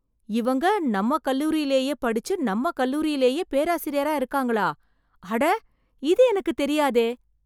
இவங்க நம்ம கல்லூரிலேயே படிச்சு நம்ம கல்லூரிலேயே பேராசிரியரா இருக்காங்களா, அட இது எனக்குத் தெரியாதே!